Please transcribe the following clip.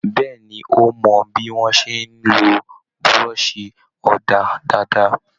Béèni, ó mọ bí wón ṣe ń lo buroṣi òdà dáadáa.